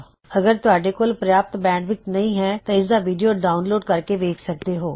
ਅਗਰ ਤੁਹਾਡੇ ਕੋਲ ਪ੍ਰਯਾਪਤ ਬੈਂਡਵਿੱਥ ਨਹੀ ਹੈ ਤਾਂ ਤੁਸੀਂ ਇਸਦਾ ਵੀਡਿਓ ਡਾਉਨਲੋਡ ਕਰ ਕੇ ਦੇਖ ਸਕਦੇ ਹੋ